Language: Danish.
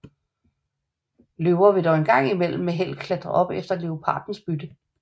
Løver vil dog en gang imellem med held klatre op efter leoparders bytte